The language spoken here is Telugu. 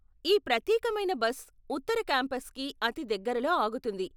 ఈ ప్రత్యేకమైన బస్ ఉత్తర కాంపస్కి అతి దగ్గరలో ఆగుతుంది.